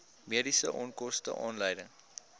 mediese onkoste aanleiding